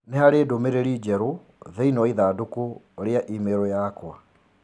Nĩ harĩ ndũmĩrĩri njerũ thĩinĩ wa ithandũkũ ria i-mīrū yakwa.